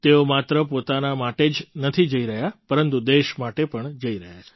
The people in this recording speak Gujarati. તેઓ માત્ર પોતાના માટે જ નથી જઈ રહ્યા પરંતુ દેશ માટે જઈ રહ્યા છે